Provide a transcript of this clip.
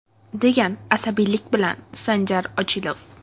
degan asabiylik bilan Sanjar Ochilov.